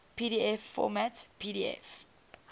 pdf format pdf